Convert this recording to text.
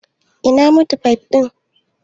Ina mit fif ɗin?